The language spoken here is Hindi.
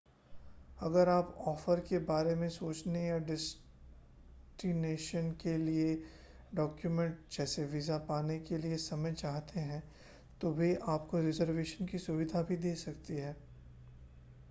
अगर आप ऑफ़र के बारे में सोचने या डेस्टिनेशन के लिए डॉक्युमेंट जैसे वीज़ा पाने के लिए समय चाहते हैं तो वे आपको रिज़र्वेशन की सुविधा भी दे सकते हैं